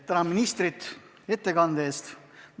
Tänan ministrit ettekande eest!